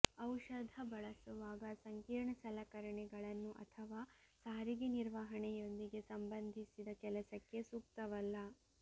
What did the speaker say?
ಔಷಧ ಬಳಸುವಾಗ ಸಂಕೀರ್ಣ ಸಲಕರಣೆಗಳನ್ನು ಅಥವಾ ಸಾರಿಗೆ ನಿರ್ವಹಣೆಯೊಂದಿಗೆ ಸಂಬಂಧಿಸಿದ ಕೆಲಸಕ್ಕೆ ಸೂಕ್ತವಲ್ಲ